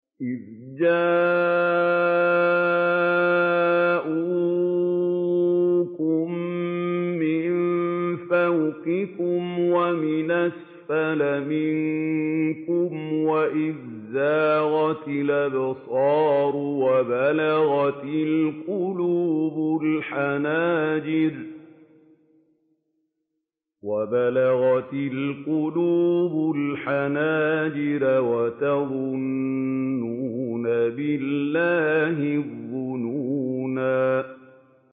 إِذْ جَاءُوكُم مِّن فَوْقِكُمْ وَمِنْ أَسْفَلَ مِنكُمْ وَإِذْ زَاغَتِ الْأَبْصَارُ وَبَلَغَتِ الْقُلُوبُ الْحَنَاجِرَ وَتَظُنُّونَ بِاللَّهِ الظُّنُونَا